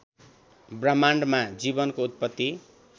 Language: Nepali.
ब्रह्माण्डमा जीवनको उत्पत्ति